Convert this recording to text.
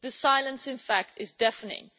The silence in fact is deafening.